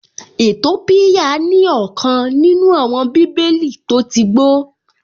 Ètópíyà ní ọ̀kan nínú àwọn bíbélì tó tí gbó